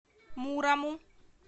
мурому